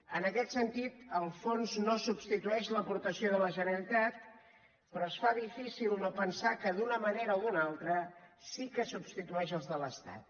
en aquest sentit el fons no substitueix l’aportació de la generalitat però es fa difícil no pensar que d’una manera o d’una altra sí que substitueix la de l’estat